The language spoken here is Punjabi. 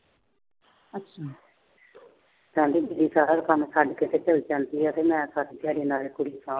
ਕਹਿੰਦੀ ਸਾਰਾ ਕੰਮ ਛੱਡ ਕੇ ਚਲੀ ਜਾਂਦੀ ਆ ਤੇ ਮੈਂ ਨਾਲੇ ਸਾਰੀ ਦਿਹਾੜੀ ਨਾਲੇ ਕੁੜੀ ਸਾਂਭਦੀ ਆ।